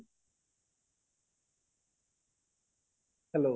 hello